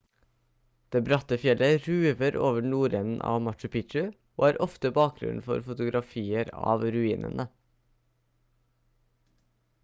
det bratte fjellet ruver over nordenden av machu picchu og er ofte bakgrunnen for fotografier av ruinene